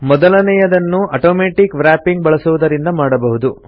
ಮೊದಲನೆಯದನ್ನು automatic wrapping ಬಳಸುವುದರಿಂದ ಮಾಡಬಹುದು